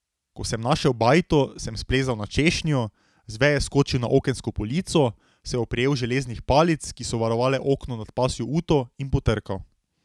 Ko sem našel bajto, sem splezal na češnjo, z veje skočil na okensko polico, se oprijel železnih palic, ki so varovale okno nad pasjo uto, in potrkal.